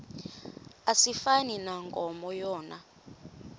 asifani nankomo yona